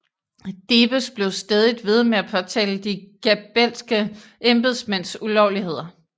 Debes blev stædigt ved med at påtale de Gabelske embedsmænds ulovligheder